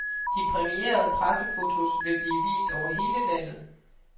De præmierede pressefotos vil blive vist over hele landet.